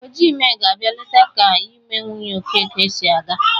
Ojiime ga-abia leta ka ime nwunye Okeke si aga.